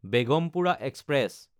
Begampura express